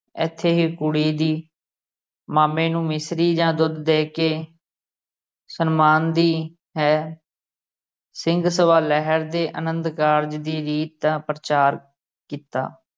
ਇੱਥੇ ਹੀ ਕੁੜੀ ਦੀ ਮਾਮੇ ਨੂੰ ਮਿਸ਼ਰੀ ਜਾਂ ਗੁੜ ਦੇ ਕੇ ਸਨਮਾਨ ਦੀ ਹੈ ਸਿੰਘ ਸਭਾ ਲਹਿਰ ਦੇ ਅਨੰਦਕਾਰਜ ਦੀ ਰੀਤ ਦਾ ਪ੍ਰਚਾਰ ਕੀਤਾ।